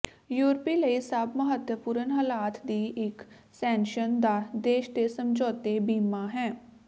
ਯੂਰਪੀ ਲਈ ਸਭ ਮਹੱਤਵਪੂਰਨ ਹਾਲਾਤ ਦੀ ਇੱਕ ਸ਼ੈਨਗਨ ਦਾ ਦੇਸ਼ ਦੇ ਸਮਝੌਤੇ ਬੀਮਾ ਹੈ